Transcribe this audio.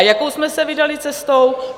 A jakou jsme se vydali cestou?